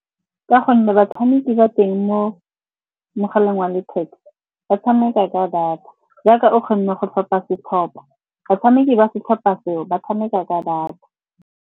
Ka gonne batshameki ba teng mo mogaleng wa letheka ba tshameka ka data, jaaka o kgonne go tlhopha setlhopa. Batshameki ba setlhopha seo ba tshameka ka data.